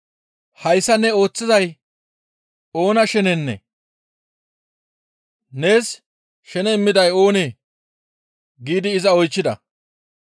«Hayssa ne ooththizay oona shenenee? Nees shene immiday oonee?» giidi iza oychchida.